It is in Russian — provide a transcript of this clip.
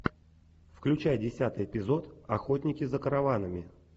включай десятый эпизод охотники за караванами